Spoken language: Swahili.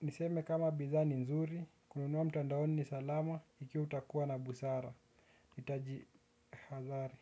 Niseme kama bidha ni nzuri. Kununua mtandaoni ni salama iki itakuwa na busara. Nitaji hadhari.